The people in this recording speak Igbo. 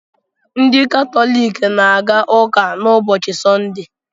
Ndị Katọlik na-aga ụka n'ụbọchị Sọnde.